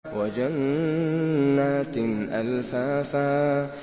وَجَنَّاتٍ أَلْفَافًا